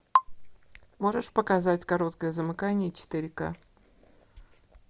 можешь показать короткое замыкание четыре ка